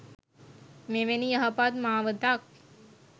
මෙවැනි යහපත් මාවතක්